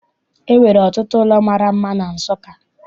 E nwere ọtụtụ ụlọ mara mma na Nsụka.